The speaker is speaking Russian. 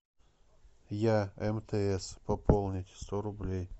я мтс пополнить сто рублей